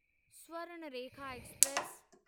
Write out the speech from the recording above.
Swarnarekha express